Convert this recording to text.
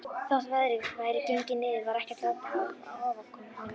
Þótt veðrið væri gengið niður var ekkert lát á ofankomunni.